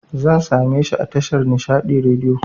Zan sameshi a tashar Nishaɗi Radiyo